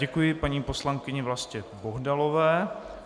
Děkuji paní poslankyni Vlastě Bohdalové.